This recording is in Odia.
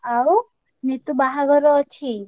ଆଉ ନିତୁ ବାହାଘର ଅଛି।